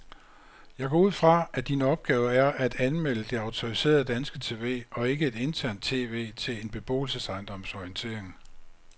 Jeg går ud fra, at din opgave er at anmelde det autoriserede danske tv og ikke et internt tv til en beboelsesejendoms orientering.